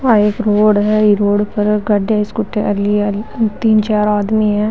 आ एक रोड है ई रोड पर गाड़िया स्कूटी लिया तीन चार आदमी है।